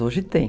Hoje tem.